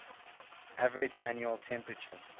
average annual temperature